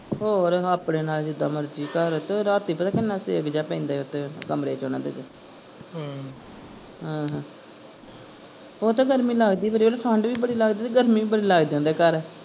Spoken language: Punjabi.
ਹੋਰ ਆਪਣੇ ਨਾਲ ਜਿੱਦਾਂ ਮਰਜੀ ਘਰ ਚ ਰਾਤੀ ਪਤਾ ਕਿੰਨਾ ਸੇਕ ਜੇਹਾ ਪੈਂਦਾ ਈ ਓਥੇ ਕਮਰੇ ਚ ਓਹਨਾ ਦੇ ਚ ਹਮ ਆਹੋ, ਓਹ ਤਾਂ ਗਰਮੀ ਲਗਦੀ ਠੰਡ ਵੀ ਬੜੀ ਲਗਦੀ ਤੇ ਗਰਮੀ ਵੀ ਬੜੀ ਲੱਗ ਜਾਂਦੀ ਆ ਘਰ।